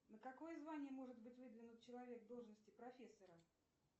на какое звание может быть выдвинут человек в должности профессора